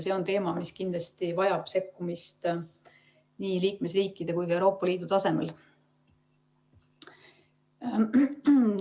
See on teema, mis kindlasti vajab sekkumist nii liikmesriikide kui ka Euroopa Liidu tasemel.